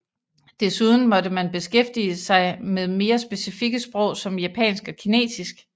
Desuden måtte man beskæftige sig med mere specifikke sprog som japansk og Kinesisk